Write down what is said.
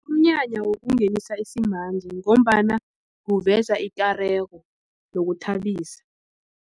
Umnyanya wokungenisa isimanje ngombana uveza ikareko yokuthabisa.